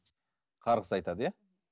қарғыс айтады иә